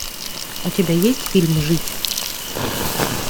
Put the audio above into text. у тебя есть фильм жить